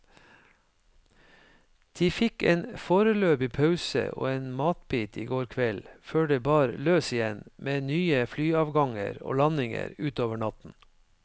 De fikk en foreløpig pause og en matbit i går kveld, før det bar løs igjen med nye flyavganger og landinger utover natten.